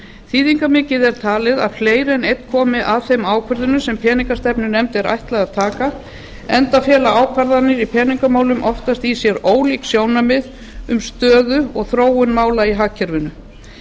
þýðingarmikið er talið að fleiri en einn komi að þeim ákvörðunum sem peningastefnunefnd er ætlað að taka enda fela ákvarðanir í peningamálum oftast í sér ólík sjónarmið um stöðu og þróun mála í hagkerfinu